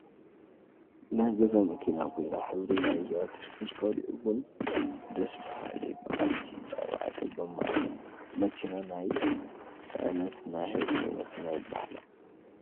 ናይ ገዛ መኪና ኮይና ሕብሪ ናይዛ ተሽከርካሪ እወን ደስ ባሃሊ በዓልቲ ኣርባዕተ ጎማ እያ። መኪና ናይ ፅዕነትን ናይ ህዝብን መኪና ይበሃላ።